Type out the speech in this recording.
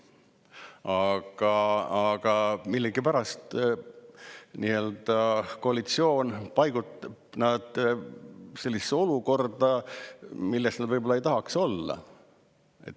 Aga millegipärast koalitsioon nad sellisesse olukorda, milles nad võib-olla ei tahaks olla.